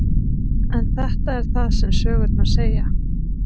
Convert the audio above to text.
En þetta er það sem sögurnar segja.